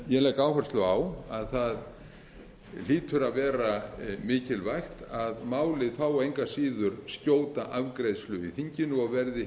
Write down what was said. ég legg áherslu á að það hlýtur að vera mikilvægt að málið fái engu að síður skjóta afgreiðslu í þinginu og verði hið